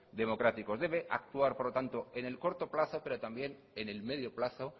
democráticos debe actuar por lo tanto en el corto plazo pero también en el medio plazo